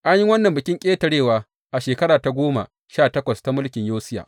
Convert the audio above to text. An yi wannan Bikin Ƙetarewa a shekara ta goma sha takwas ta mulkin Yosiya.